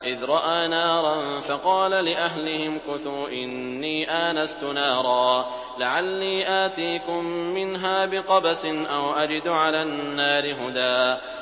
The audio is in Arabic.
إِذْ رَأَىٰ نَارًا فَقَالَ لِأَهْلِهِ امْكُثُوا إِنِّي آنَسْتُ نَارًا لَّعَلِّي آتِيكُم مِّنْهَا بِقَبَسٍ أَوْ أَجِدُ عَلَى النَّارِ هُدًى